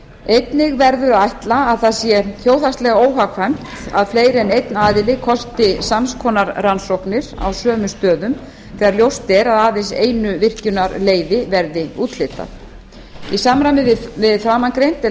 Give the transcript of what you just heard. einnig verður að ætla að það sé þjóðhagslega óhagkvæmt að fleiri en einn aðili kosti sams konar rannsóknir á sömu stöðum þegar ljóst er að aðeins einu virkjunarleyfi verði úthlutað í samræmi við framangreint er